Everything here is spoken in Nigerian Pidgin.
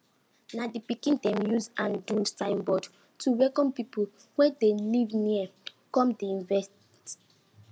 na the pikin dem use hand do signboard to welcome people wey dey live near come the event